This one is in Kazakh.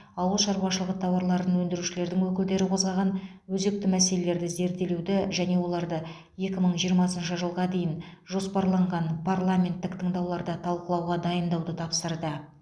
ауыл шаруашылығы тауарын өндірушілердің өкілдері қозғаған өзекті мәселелерді зерделеуді және оларды екі мың жиырмасыншы жылға дейін жоспарланған парламенттік тыңдауларда талқылауға дайындауды тапсырды